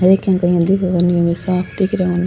एक ही में साफ दिख रा हु।